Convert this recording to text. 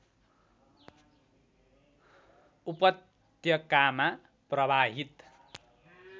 उपत्यकामा प्रवाहित